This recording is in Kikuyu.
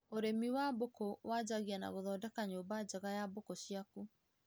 Ũrĩmi wa mbũkũ wanjagia na gũthondeka nyũmba njega ya mbũku ciaku